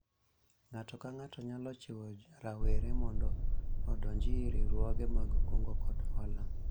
ng'ato ka ng'ato nyalo jiwo rawere mondo odonji e riwruoge mag kungo kod hola